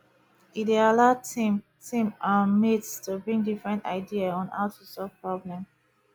e dey allow team team um mates to bring different idea on how to solve problem